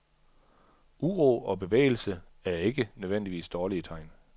Uro og bevægelse er ikke nødvendigvis dårlige tegn.